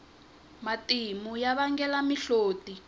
matimu ya vangela mihloti